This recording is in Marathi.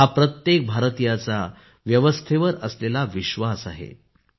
हा प्रत्येक भारतीयांचा व्यवस्थेवर असलेला विश्वास दर्शवणारे आहे